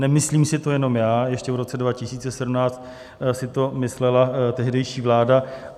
Nemyslím si to jenom já, ještě v roce 2017 si to myslela tehdejší vláda.